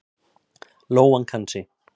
Lóan kann sig.